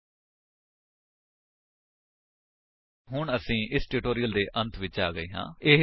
http spoken tutorial org ਨਮੈਕਟ intro ਹੁਣ ਅਸੀ ਇਸ ਟਿਊਟੋਰਿਅਲ ਦੇ ਅੰਤ ਵਿੱਚ ਆ ਗਏ ਹਾਂ